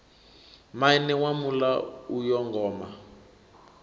maine wa muḽa uyo ngoma